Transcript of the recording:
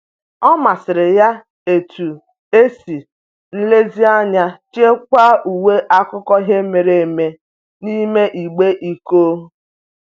Ọ masịrị ya etu e si nlezianya chekwaa uwe akụkọ ihe mere eme n'ime igbe iko.